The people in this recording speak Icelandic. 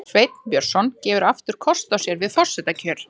Sveinn Björnsson gefur aftur kost á sér við forsetakjör